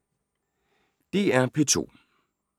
DR P2